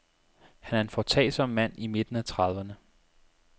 Han er en foretagsom mand i midten af trediverne.